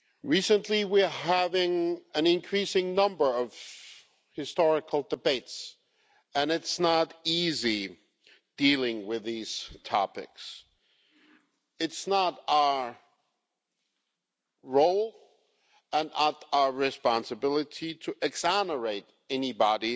Recently, we have been having an increasing number of historical debates, and it's not easy dealing with these topics. It's not our role and it's not our responsibility to exonerate anybody